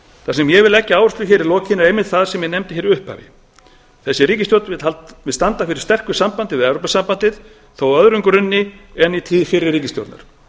það sem ég vil leggja áherslu á hér í lokin er einmitt það sem ég nefndi í upphafi þessi ríkisstjórn vil standa fyrir sterku sambandi við evrópusambandið þó á öðrum grunni en í tíð fyrri ríkisstjórnar